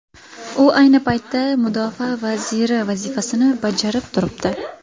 U ayni paytda mudofaa vaziri vazifasini bajarib turibdi.